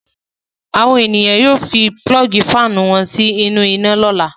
Àwọn ènìyàn yóò fi pulọ́ọ́gì fáánù wọn sínú iná lọ́la.